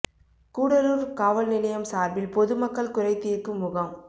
கூடலூர் காவல் நிலையம் சார்பில் பொது மக்கள் குறை தீர்க்கும் முகாம்